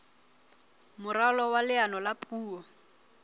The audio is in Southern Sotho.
moralo wa leano la puo